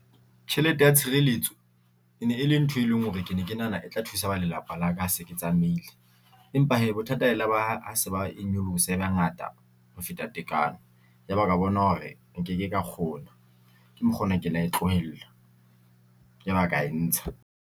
Tjhelete ya tshireletso e ne e le ntho e leng hore ke ne ke nahana e tla thusa ba lelapa la ka ha se ke tsamaile empa hee bothata e la ba, ha se ba e nyolosa e ba ngata ho feta tekanyo ya ba ka bona hore nke ke ka kgona ke mokgwa ona ke la e tlohella ya ba ka entsha.